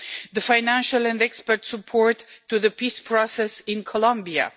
the financial and expert support to the peace process in Colombia